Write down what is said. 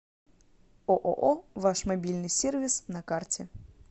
ооо ваш мобильный сервис на карте